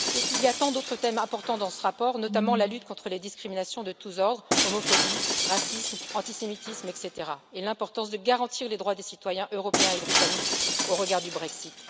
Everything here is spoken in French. Il y a tant d'autres thèmes importants dans ce rapport, notamment la lutte contre les discriminations de tous ordres homophobie, racisme, antisémitisme, etc. et l'importance de garantir les droits des citoyens européens et britanniques au regard du Brexit.